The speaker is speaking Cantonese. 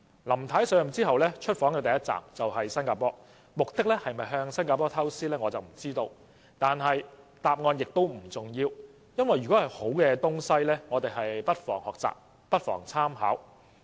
林太上任後出訪首站便是新加坡，我不知道她的目的是否向新加坡學習，但答案並不重要，因為只要是好東西，我們不妨學習和參考。